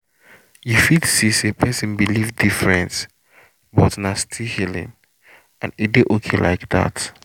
you fit see say person believe different but na still healing — and e dey okay like that.